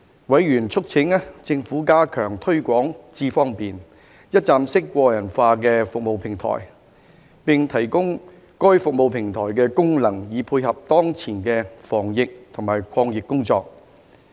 委員促請政府加強推廣"智方便"一站式個人化服務平台，並提供該服務平台的功能以配合當前的防疫及抗疫工作。